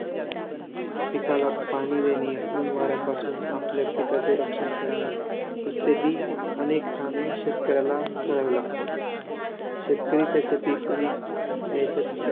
पिकाला पाणी देणे, ऊन वाऱ्यापासून आपल्या पिकाचे रक्षण करणे इत्यादी अनेक कामे शेतकऱ्याला करावी लागतात. शेतकरी त्याचे पीक अनेक नैसर्गिक